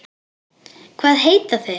Hvað heita þeir?